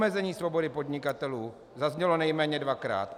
Omezení svobody podnikatelů - zaznělo nejméně dvakrát.